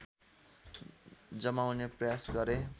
जमाउने प्रयास गरे